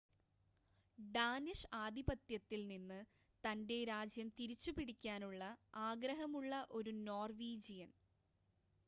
Danish ആധിപത്യത്തിൽ നിന്ന് തൻ്റെ രാജ്യം തിരിച്ചുപിടിക്കാനുള്ള ആഗ്രഹമുള്ള ഒരു നോർവീജിയൻ